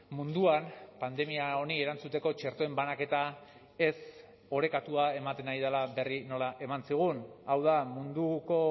munduan pandemia honi erantzuteko txertoen banaketa ez orekatua ematen ari dela berri nola eman zigun hau da munduko